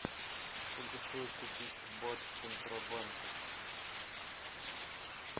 сколько стоит купить бат в центробанке